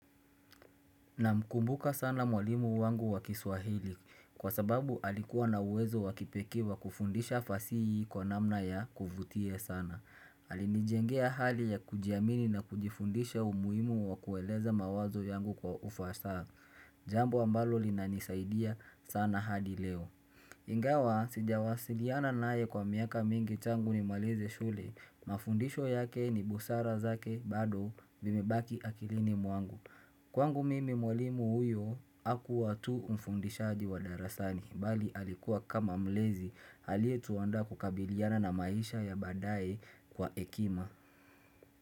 Na mkumbuka sana mwalimu wangu wa kiswahili kwa sababu alikuwa na uwezo wakipekee wa kufundisha fasihi kwa namna ya kuvutia sana. Alinijengea hali ya kujiamini na kujifundisha umuhimu wa kueleza mawazo yangu kwa ufasaha. Jambo ambalo linani saidia sana hadi leo. Ingawa, sijawasiliana naye kwa miaka mingi tangu ni malize shule. Mafundisho yake ni busara zake bado vimebaki akilini mwangu. Kwangu mimi mwalimu huyu akuwa tu mfundishaji wa darasani, mbali alikuwa kama mlezi alie tuandaa kukabiliana na maisha ya baadaye kwa ekima.